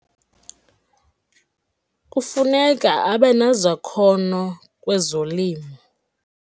Kufuneka abe nezakhono kwezolimo.